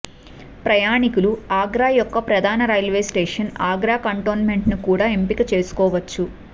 ప్రయాణికులు ఆగ్రా యొక్క ప్రధాన రైల్వే స్టేషన్ ఆగ్రా కంటోన్మెంట్ ను కూడా ఎంపిక చేసుకోవచ్చు